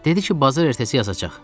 Dedi ki bazar ertəsi yazacaq.